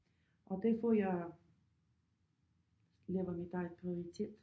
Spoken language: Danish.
Og det får jeg laver mit eget prioritet